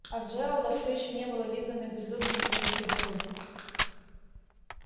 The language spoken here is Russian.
а джералда все ещё не было видно на безлюдной извилистой дороге